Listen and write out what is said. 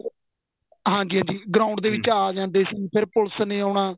ਹਾਂਜੀ ਹਾਂਜੀ ground ਦੇ ਵਿੱਚ ਆ ਜਾਂਦੇ ਸੀ ਫੇਰ ਪੁਲਸ ਨੇ ਆਨਾ